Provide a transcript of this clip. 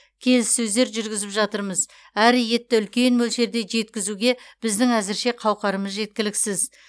келіссөздер жүргізіп жатырмыз әрі етті үлкен мөлшерде жеткізуге біздің әзірше қауқарымыз жеткіліксіз